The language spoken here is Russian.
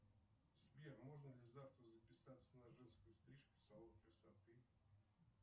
сбер можно ли завтра записаться на женскую стрижку в салон красоты